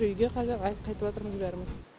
үйге қарай қайтып жатырмыз бәріміз